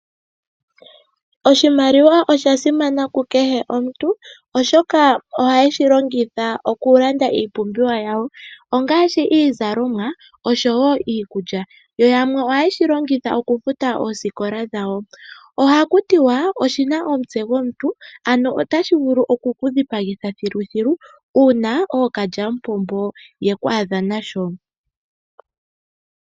Oshimaliwa osha simana ku kehe omuntu oshoka ohayeyi longitha okulanda oompumbwe dhawo. Oompumbwe ongaashi iizalomwa yamwe oha yeyi longitha okufuta oosikola dhawo. Oshimaliwa oshina omutse gwomuntu notashi vulu oku kudhipagitha koo kalyamupombo uuna ye kwaadha nasho.